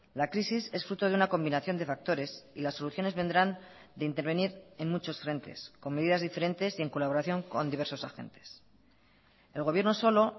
la crisis es fruto de una combinación de factores y las soluciones vendrán de intervenir en muchos frentes con medidas diferentes y en colaboración con diversos agentes el gobierno solo